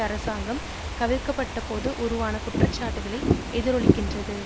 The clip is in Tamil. அரசாங்கம் கவிழ்க்கப்பட்டபோது உருவான குற்றச்சாட்டுக்களை எதிரொலிக்கின்றது